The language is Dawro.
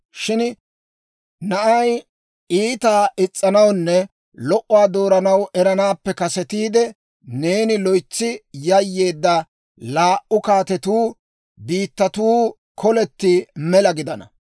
Shin na'ay iitaa is's'anawunne lo"uwaa dooranaw eranaappe kasetiide, neeni loytsi yayyeedda laa"u kaatetuu biittatuu koletti mela gidana.